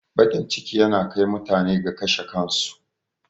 Baƙin ciki yana kai mutane ga kashe kansu